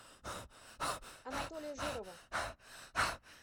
анатолия жирова